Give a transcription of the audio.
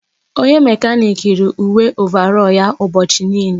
Onye mekanik yiiri uwe ovarọl ya ụbọchị niile.